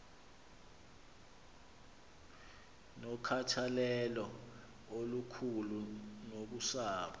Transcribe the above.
nokhathalelo olukhulu nakusapho